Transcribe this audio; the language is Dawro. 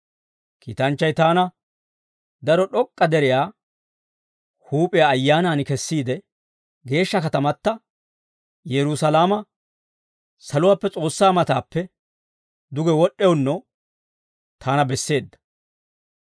Kiitanchchay taana daro d'ok'k'a deriyaa huup'iyaa Ayyaanan kessiide geeshsha katamata, Yerusaalama saluwaappe S'oossaa matappe duge wod'd'ewunno taana besseedda.